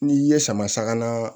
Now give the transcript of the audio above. N'i ye sama saga na